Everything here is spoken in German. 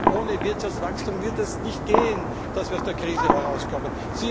Ohne Wirtschaftswachstum wird das nicht gehen, dass wir aus der Krise herauskommen.